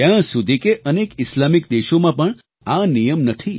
ત્યાં સુધી કે અનેક ઈસ્લામિક દેશોમાં પણ આ નિયમ નથી